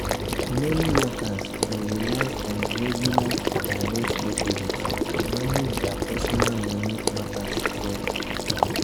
meni workers dey rely on regular direct deposits to manage dia personal moni matters well.